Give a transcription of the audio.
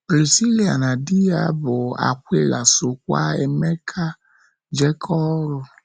Prisila na di ya bụ́ Akwịla sokwa Emeka jekọọ oru.